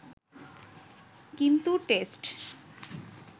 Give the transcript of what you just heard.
কিন্তু টেস্ট